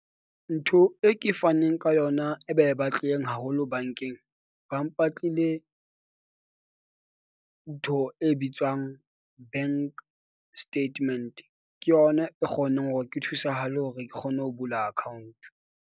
Ntho e ke faneng ka yona e be e batlileng haholo bank-eng, ba mpatlile ntho e bitswang bank statement. Ke yona e kgonang hore ke thusahale hore ke kgone ho bula account.